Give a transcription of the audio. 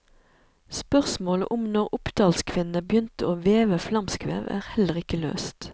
Spørsmålet om når oppdalskvinnene begynte å veve flamskvev, er heller ikke løst.